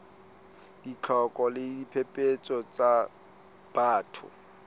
ditlhoko le diphephetso tsa batho